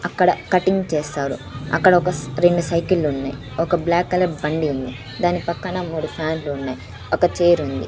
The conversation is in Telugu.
అక్కడ కటింగ్ చేస్తారు అక్కడ ఒక రెండు సైకిలు ఉన్నాయి ఒక బ్లాక్ కలర్ బండి ఉంది దాని పక్కన మూడు ఫ్యాన్ లు ఉన్నాయి ఒక చైర్ ఉంది.